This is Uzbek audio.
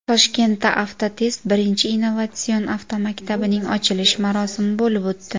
Toshkentda Avtotest birinchi innovatsion avtomaktabining ochilish marosimi bo‘lib o‘tdi.